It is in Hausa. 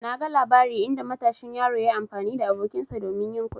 Na gan labari inda matashin yaro yayi amfani da abokinsa domin yin kuɗi.